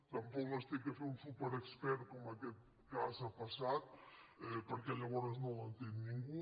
tampoc les ha de fer un superex·pert com en aquest cas ha passat perquè llavors no l’entén ningú